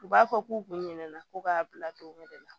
U b'a fɔ k'u kun ɲinɛna ko k'a bila don wɛrɛ la